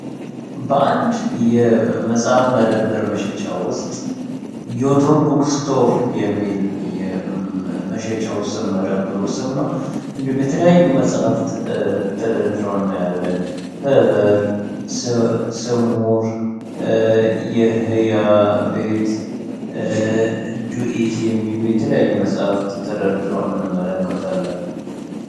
በአንድ የመጽሐፍ መደበር መሸጫው ውስጥ ዮቶርቡክስቶር የሚል የመሸጫ ውስም መደብሩ ስም ነ እንዱም የተለያዩ መጽሐፍት ተደድረውነ ያለን ሕበር ስሙር የህያቤት ዱኢት የሚሉ የተለያዩ መጽሐፍ ተደድረንመለከታለን